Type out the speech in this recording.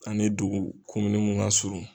Ani dugu mun ka surun.